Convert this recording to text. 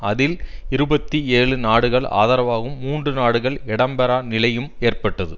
அதில் இருபத்தி ஏழு நாடுகள் ஆதரவாகவும் மூன்று நாடுகள் இடம் பெறா நிலையும் ஏற்பட்டது